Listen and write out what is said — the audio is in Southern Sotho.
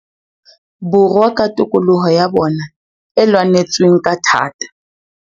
Borwa ka tokoloho ya bona e lwanetsweng ka thata.